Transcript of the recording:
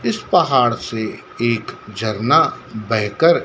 इस पहाड़ से एक झरना बहेकर--